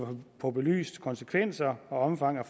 få belyst konsekvenserne og omfanget